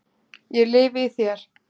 ég lifi í þér.